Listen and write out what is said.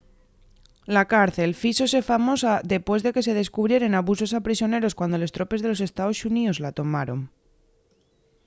la cárcel fíxose famosa depués de que se descubrieren abusos a prisioneros cuando les tropes de los estaos xuníos la tomaron